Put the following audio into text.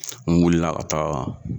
N wulila ka taa